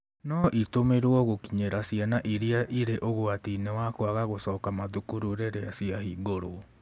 No itũmĩrwo gũkinyĩra ciana irĩa irĩ ũgwatiinĩ wa kwaga gũcoka mathukuru rĩrĩa ciahingũrwo.